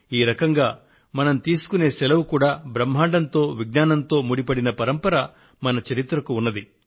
ఈ రకంగా మనం తీసుకొనే సెలవు కూడా బ్రహ్మాండంతో విజ్ఞానంతో ముడిపడిన పరంపర మన చరిత్రకు ఉంది